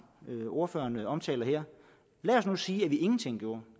ordføreren omtaler her lad os nu sige at vi ingenting gjorde